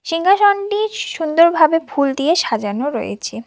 সিংহাসনটি সুন্দরভাবে ফুল দিয়ে সাজানো রয়েছে।